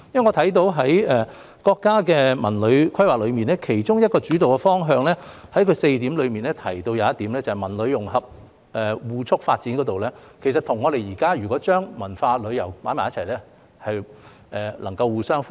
我看到在國家的《文旅規劃》4個規劃原則中，有一個提到"文旅融合互促發展"，如果我們現時把文化和旅遊放在一起，便可以與此互相呼應。